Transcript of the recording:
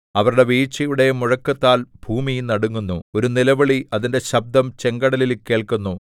അവരുടെ വീഴ്ചയുടെ മുഴക്കത്താൽ ഭൂമി നടുങ്ങുന്നു ഒരു നിലവിളി അതിന്റെ ശബ്ദം ചെങ്കടലിൽ കേൾക്കുന്നു